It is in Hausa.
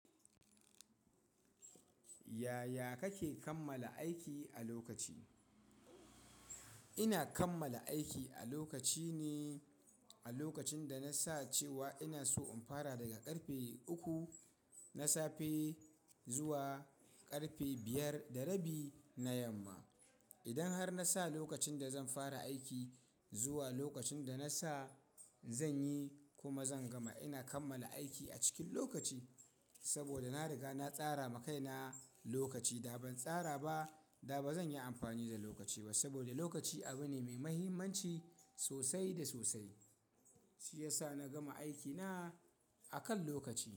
Yaya kake kammala aiki a lokaci? Ina kammala aiki a lokaci ne a lokacin da na sa cewa ina so in fara daga ƙarfe uku na safe zuwa ƙarfe biyar da rabi na yamma. Idan har na sa lokacin da zan fara aiki zuwa lokacin da na sa, zan yi kuma zan gama. Ina kammala aiki a cikin lokaci saboda na riga na tsara ma kaina lokaci. Da ban tsara ba, da ba zan yi amfani da lokaci ba saboda lokaci abu ne mai muhimmanci sosai da sosai. Shi ya sa na gama aikina a kan lokaci.